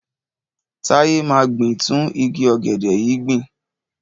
Táyé máa gbin tún igi ọ̀gẹ̀dẹ̀ yìí gbìn.